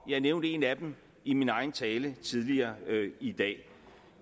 jeg nævnte en af dem i min egen tale tidligere i dag